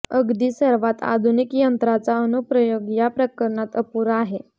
अगदी सर्वात आधुनिक यंत्रांचा अनुप्रयोग या प्रकरणात अपुरा आहे